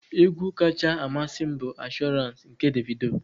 Egwu kacha amasị m bụ Assurance nke Davido.